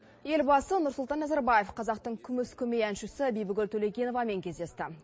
елбасы нұрсұлтан назарбаев қазақтың күміс көмей әншісі бибігүл төлегеновамен кездесті